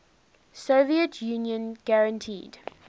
soviet union guaranteed